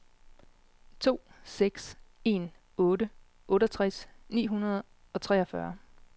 to seks en otte otteogtres ni hundrede og treogfyrre